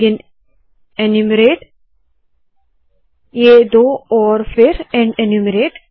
begin enumerate ये दो और फिर एंड एन्यूमरेट